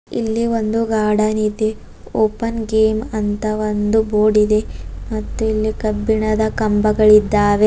ಇಲ್ಲಿ ಒಂದು ಗಾರ್ಡನ್ ಇದೆ ಓಪನ್ ಗೇಮ್ ಅಂತ ಒಂದು ಬೋರ್ಡ್ ಇದೆ ಮತ್ತು ಇಲ್ಲಿ ಕಬ್ಬಿಣದ ಕಂಬಗಳಿದ್ದಾವೆ.